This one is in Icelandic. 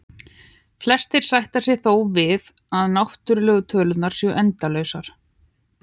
Flestir sætta sig þó við að náttúrlegu tölurnar eru endalausar.